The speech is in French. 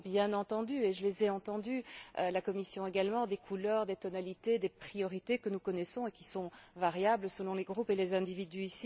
Il y avait bien entendu et je les ai entendues, tout comme la Commission des couleurs, des tonalités, des priorités que nous connaissons et qui sont variables selon les groupes et les individus.